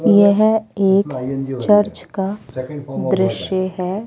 यह एक चर्च का दृश्य है।